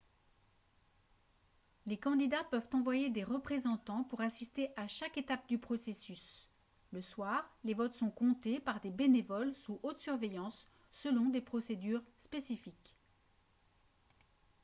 les candidats peuvent envoyer des représentants pour assister à chaque étape du processus le soir les votes sont comptés par des bénévoles sous haute surveillance selon des procédures spécifiques